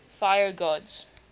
fire gods